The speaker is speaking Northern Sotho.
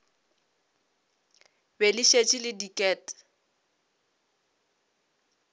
be le šetše le diket